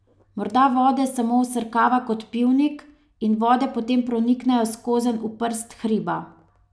Morda vode samo vsrkava kot pivnik in vode potem proniknejo skozenj v prst hriba.